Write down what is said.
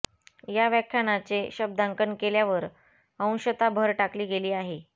या व्याख्यानाचे शब्दांकन केल्यावर अंशतः भर टाकली गेली आहे